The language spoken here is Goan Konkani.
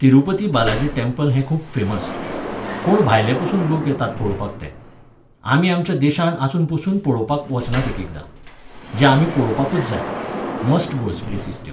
तिरुपती बालाजी टॅम्पल हें खूब फेमस. कोण भायलेपसून लोक येतात पळोवपाक तें. आमी आमच्या देशांन आसूनपसून पळोवपाक वचनात एकएकदां, जें आमी पळोवपाकूच जाय, मस्ट गोज प्लेसीस त्यो.